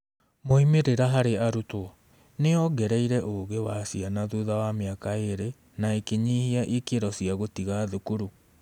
moimĩrĩra harĩ arutwo: Nĩ yongereire ũũgi wa ciana thutha wa mĩaka ĩĩrĩ na ĩkĩnyihia ikĩro cia gũtiga thukuru.